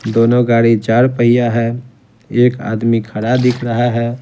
दोनों गाड़ी चार पहिया है एक आदमी खड़ा दिख रहा है।